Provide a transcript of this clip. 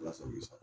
Ala sago i bi sa